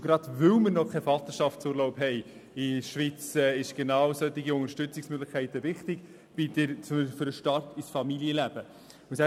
Und gerade weil wir in der Schweiz noch keinen Vaterschaftsurlaub kennen, sind genau solche Unterstützungsmöglichkeiten für den Start in das Familienleben wichtig.